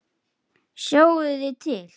Sjáiði til!